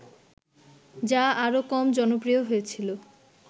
যা আরও কম জনপ্রিয় হয়েছিল